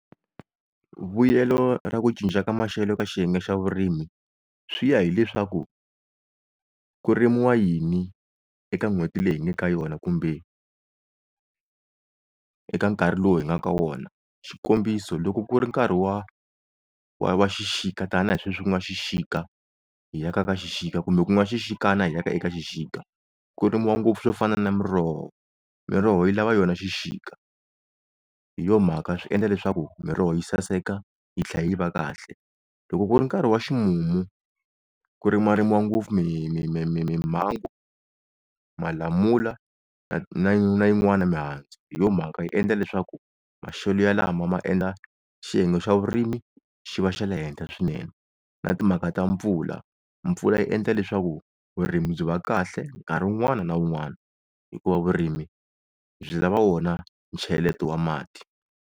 Vuyelo ra ku cinca ka maxelo eka xiyenge xa vurimi, swi ya hileswaku kurimiwa yini eka n'hweti leyi hi nga eka yona kumbe eka nkarhi lowu hi nga ka wona, xikombiso loko ku ri nkarhi wa wa xixika tani hi leswi ku nga xixika hi ya ka ka xixika kumbe ku nga xixikana hi ya ka eka xixika ku rimiwa ngopfu swo fana na Miroho. Miroho yi lava yona xixika hi yo mhaka swi endla leswaku Miroho yi saseka yi tlhela yi va kahle. Loko ku ri nkarhi wa ximumu ku rima rimiwa ngopfu mi Mimangwa, Malamula na na yin'wana mihandzu hi yo mhaka yi endla leswaku maxelo yalama maendla xiyenge xa vurimi xi va xa le henhla swinene. Na timhaka ta mpfula, mpfula yi endla leswaku vurimi byi va kahle nkarhi wun'wana na wun'wana hikuva vurimi byi lava wona cheleto wa mati.